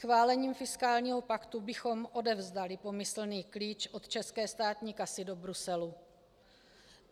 Schválením fiskálního paktu bychom odevzdali pomyslný klíč od české státní kasy do Bruselu.